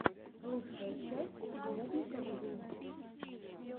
лучшая часть бублика вью